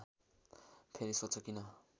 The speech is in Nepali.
फेरी सोध्छ किन